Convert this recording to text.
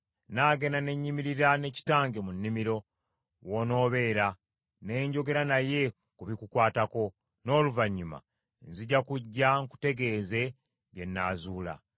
Nnaagenda ne nnyimirira ne kitange mu nnimiro, w’onoobeera, ne njogera naye ku bikukwatako, n’oluvannyuma nzija kujja nkutegeeze bye nnaazuula.”